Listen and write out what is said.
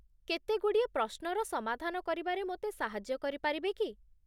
କେତେଗୁଡ଼ିଏ ପ୍ରଶ୍ନର ସମାଧାନ କରିବାରେ ମୋତେ ସାହାଯ୍ୟ କରିପାରିବେ କି?